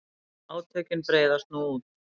Átökin breiðast nú út.